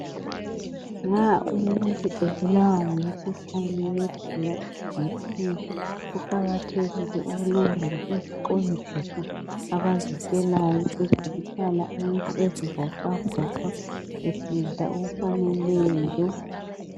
Nxa umuntu ebulawa ngumkhuhlane weBlood Pressure (BP) kuqakathekile ukulandela iziqondiso abazitshelwayo ezokuhlala umuntu ezivoxavoxa esidla ukudla okufaneleyo.